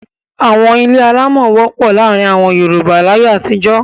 Àwọn ilé alámọ̀ wọ́pọ̀ láàárin àwọn Yorùbá láyé àtijó.